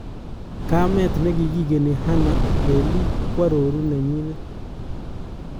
Kameet nekigeni Hannah Lelii koaroruu nenyinet